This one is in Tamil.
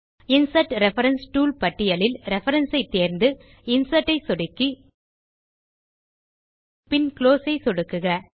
இன்சர்ட் ரெஃபரன்ஸ் டூல் பட்டியலில் ரெஃபரன்ஸ் ஐ தேர்ந்து இன்சர்ட் ஐ சொடுக்கி பின் குளோஸ் ஐ சொடுக்குக